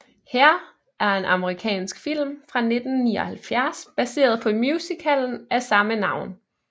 Hair er en amerikansk film fra 1979 baseret på musicalen af samme navn